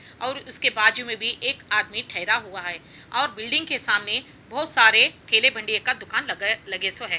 ओर उसके बाजू मे भी एक आदमी ठहरा हुआ है ओर बिल्डिंग के सामने बहुत सारे केले भंडारे का दुकान लगे सो है।